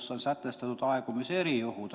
Seal on sätestatud aegumise erijuhud.